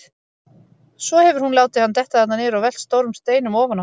Svo hefur hún látið hann detta þarna niður og velt stórum steinum ofan á.